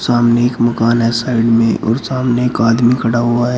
सामने एक मकान है साइड में और सामने एक आदमी खड़ा हुआ है।